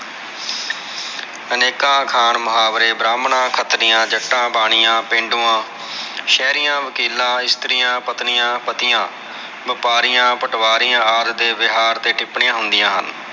ਅਨੇਕਾਂ ਅਖਾਣ ਮੁਹਾਵਰੇ ਬ੍ਰਾਹਮਣਾ, ਖ਼ਤਰੀਆਂ, ਜੱਟਾ, ਬਾਣੀਆਂ, ਪੇਂਡੂਆਂ, ਸ਼ਹਿਰੀਆਂ, ਵਕੀਲਾਂ, ਇਸਤਰੀਆਂ, ਪਤਨੀਆਂ, ਪਤੀਆ, ਵ੍ਯਾਪਾਰਿਆ, ਪਟਵਾਰੀਆਂ ਹਰ ਦੇ ਵਿਹਾਰ ਤੇ ਟਿੱਪਣੀਆਂ ਹੁੰਦੀਆ ਹਨ।